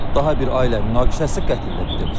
Daha bir ailə münaqişəsi qətlə bitib.